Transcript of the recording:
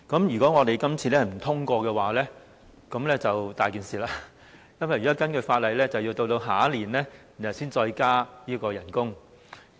如果今次不獲通過，便"大件事"了，因為根據法例，要待明年才能再增加最低工資。